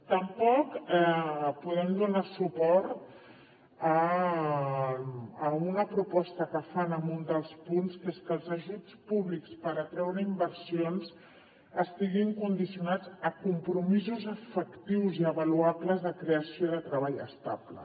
tampoc podem donar suport a una proposta que fan en un dels punts que és que els ajuts públics per atreure inversions estiguin condicionats a compromisos efectius i avaluables de creació de treball estable